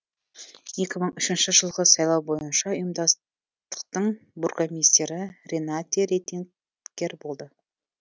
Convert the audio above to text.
екі мың үшінші жылғы сайлау бойынша ұйымдастықтың бургомистрі ренате реттенеггер болды